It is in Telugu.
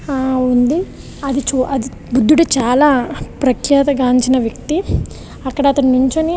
హా ఉంది. అదిచు అది బుద్ధుడు చాలా ప్రఖ్యాత గాంచిన వ్యక్తి ఇక్కడ అతను నించొని --